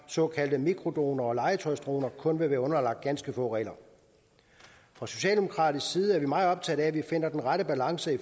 såkaldte mikrodroner og legetøjsdroner kun vil være underlagt ganske få regler fra socialdemokratisk side er vi meget optaget af at vi finder den rette balance